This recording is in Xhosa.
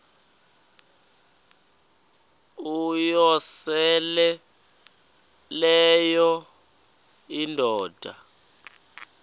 uyosele leyo indoda